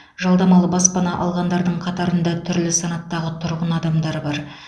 жалдамалы баспана алғандардың қатарында түрлі санаттағы тұрғындар адамдар бар